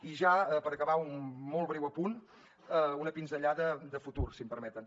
i ja per acabar un molt breu apunt una pinzellada de futur si m’ho permeten